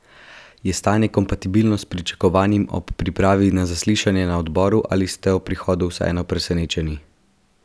Je stanje kompatibilno s pričakovanim ob pripravi na zaslišanje na odboru ali ste bili ob prihodu vseeno presenečeni?